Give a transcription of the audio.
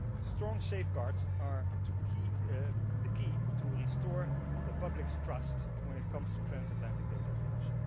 Strong safeguards are the key to restore the public's trust when it comes to transatlantic data flows.